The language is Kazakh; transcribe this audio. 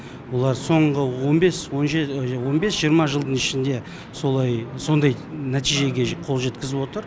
олар соңғы он бес жиырма жылдың ішінде сондай нәтижеге қол жеткізіп отыр